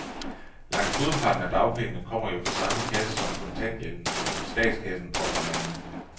Langt hovedparten af dagpengene kommer jo fra samme kasse som kontanthjælpen, nemlig statskassen, påpeger han.